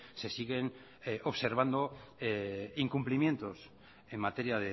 se siguen observando incumplimientos en materia